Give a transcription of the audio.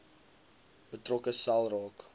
betrokke sel raak